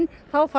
þá fara